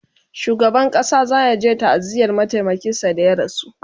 shugaban ƙasa zayaje ta'aziyar mataimakin sa da ya rasu